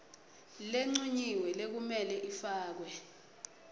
lencunyiwe lekumele ifakwe